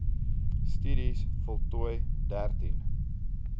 studies voltooi dertien